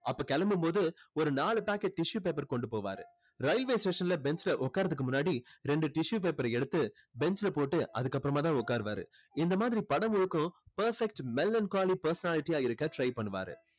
அப்போ கிளம்பும்போது ஒரு நாலு packet tissue paper கொண்டு போவாரு. railway station ல bench ல உக்காருவதற்கு முன்னாடி ரெண்டு tissue paper அ எடுத்து bench ல போட்டு அதுக்கப்புறம் தான் உக்கார்வாரு. இந்த மாதிரி படம் முழுக்கும் perfect melancholy personality ஆ இருக்க try பண்ணுவாரு.